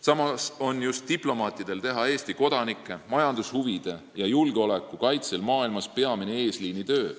Samas on just diplomaatide teha peamine eesliini töö Eesti kodanike, majandushuvide ja julgeoleku kaitsel maailmas.